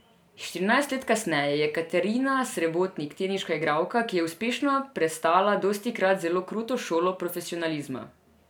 Štirinajst let kasneje je Katarina Srebotnik teniška igralka, ki je uspešno prestala dostikrat zelo kruto šolo profesionalizma.